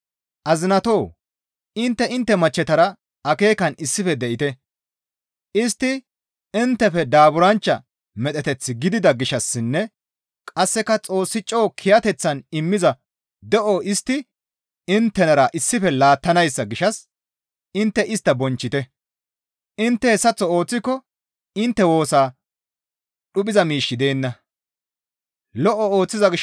Azinatoo! Intte intte machchetara akeekan issife de7ite; istti inttefe daaburanchcha medheteth gidida gishshassinne qasseka Xoossi coo kiyateththan immiza de7o istti inttenara issife laattanayssa gishshas intte istta bonchchite; intte hessaththo ooththiko intte woosaa dhuphiza miishshi deenna.